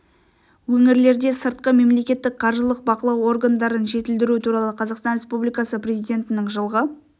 өңірлерде сыртқы мемлекеттік қаржылық бақылау органдарын жетілдіру туралы қазақстан республикасы президентінің жылғы